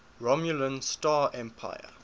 romulan star empire